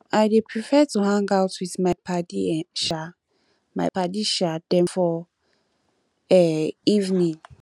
i dey prefer to hang out wit my paddy um my paddy um dem for um evening